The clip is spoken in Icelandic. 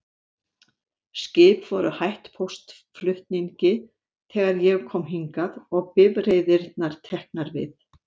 Skip voru hætt póstflutningi þegar ég kom hingað, og bifreiðirnar teknar við.